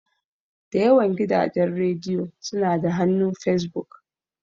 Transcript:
Da yawan gidajen rediyo suna da hannu s Fesbuk.